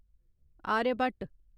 Aryabhata